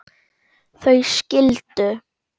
Þau skildu.